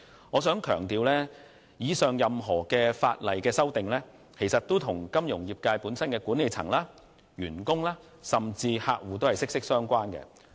我必須強調，上述的法例修訂，均與金融業界的管理層、員工及客戶息息相關。